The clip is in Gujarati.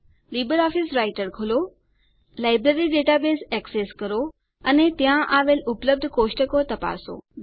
લીબરઓફીસ રાઈટર ખોલો લાઈબ્રેરી ડેટાબેઝ એક્સેસ કરો અને ત્યાં આવેલ ઉપલબ્ધ કોષ્ટકો તપાસો